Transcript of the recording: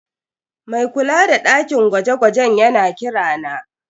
Mai kula da dakin gwaje-gwajen yana kira na.